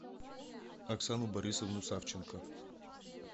оксану борисовну савченко